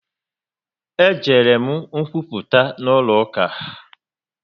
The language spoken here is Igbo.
E jere m nkwuputa n'ụlọ uka